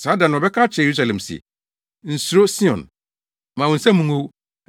Saa da no, wɔbɛka akyerɛ Yerusalem se, “Nsuro, Sion! Mma wo nsa mu ngow.